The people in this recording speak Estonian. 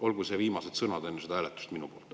Olgu need viimased sõnad enne seda hääletust minu poolt.